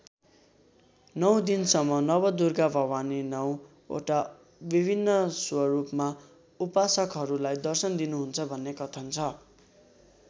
नौ दिनसम्म नवदुर्गा भवानी नौ वटा विभिन्न स्वरूपमा उपासकहरूलाई दर्शन दिनुहुन्छ भन्ने कथन छ।